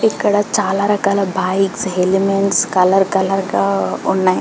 ఇక్కడ చాలా రకాల బైక్స్ హెల్మెట్స్ కలర్ కలర్గా ఉన్నాయి